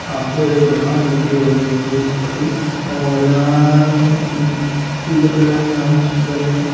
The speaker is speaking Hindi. आपको एक दुकान दिख रही होगी और यहाँ पीले कलर में हाउस भी बने हैं।